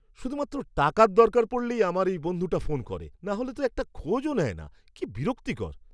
শুধুমাত্র টাকার দরকার পড়লেই আমার এই বন্ধুটা ফোন করে, নাহলে তো একটা খোঁজও নেয় না, কি বিরক্তিকর!